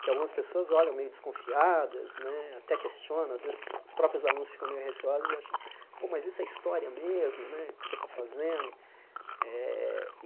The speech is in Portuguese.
que algumas pessoas olham meio desconfiadas né, até questionam, às vezes os próprios alunos ficam meio receosos e acham, pô, mas isso é história mesmo né, que você está fazendo? Eh